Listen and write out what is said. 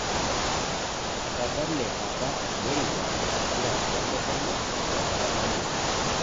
Etadale apa Moriba empira oo ntomonok tenkata nabo